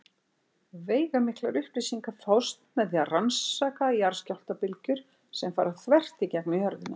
Veigamiklar upplýsingar fást með því að rannsaka jarðskjálftabylgjur sem fara þvert í gegnum jörðina.